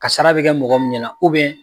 Kasara bɛ kɛ mɔgɔ min ɲɛna na